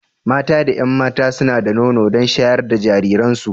Mata da 'yan mata suna da nono don shayar da jirajiransu.